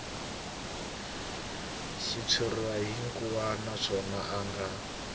xitshuriwa hinkwaxo naswona a nga